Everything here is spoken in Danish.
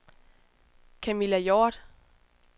Kamilla Hjorth